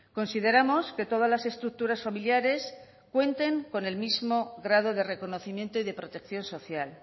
consideramos que todas las estructuras familiares cuenten con el mismo grado de reconocimiento y de protección social